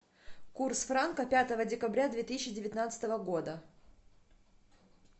курс франка пятого декабря две тысячи девятнадцатого года